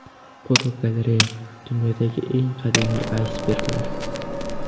Fotogalereya: Dunyodagi eng qadimiy aysberglar.